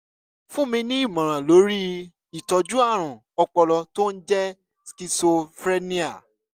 fúnni ní ìmọ̀ràn lórí ìtọ́jú ààrùn ọpọlọ tó ń jẹ́ cs] schizophrenia